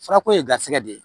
Farako ye garisɛgɛ de ye